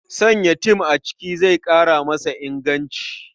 Sanya tem a abinci zai ƙara masa inganci.